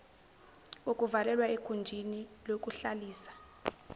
kokuvalelwa egunjini lokuhlalisa